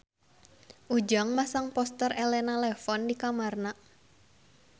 Ujang masang poster Elena Levon di kamarna